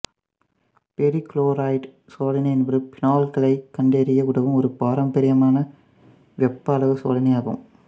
ferric chloride சோதனை என்பது பீனால்களைக் கண்டறிய உதவும் ஒரு பாரம்பரியமான வெப்ப அளவு சோதனையாகும்